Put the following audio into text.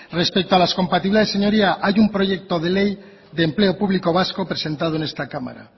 respecto a las compatibilidades señorías hay un proyecto de ley de empleo público vasco presentado en esta cámara